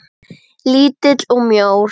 Lítill og mjór.